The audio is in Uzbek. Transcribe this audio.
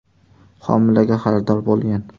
homilaga xaridor bo‘lgan.